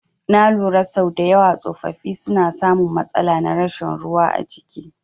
Na lura sau dayawa tsofaffi suna samun matsala na rashin ruwa a jiki